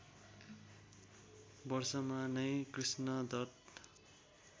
वर्षमा नै कृष्णदत्त